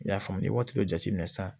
I y'a faamu ni waati dɔ jateminɛ sisan